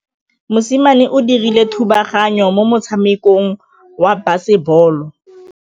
Mosimane o dirile thubaganyô mo motshamekong wa basebôlô.